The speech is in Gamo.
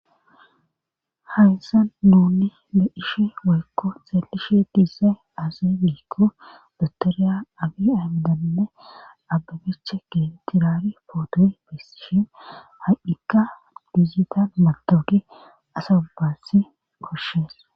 hayisa nunni be'ishe weyikko xeelishe diize aaze giikko dotoriya abi amidanne ababecha geetiraari pooto bessishin ha'ikka dijital matowoqe asa ubaatsi koshshees